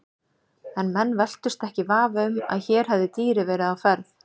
En menn velktust ekki í vafa um að hér hefði dýrið verið á ferð.